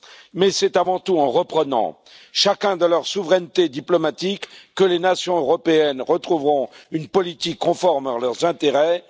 Mais c'est avant tout en reprenant chacune de leur souveraineté diplomatique que les nations européennes retrouveront une politique conforme à leurs intérêts.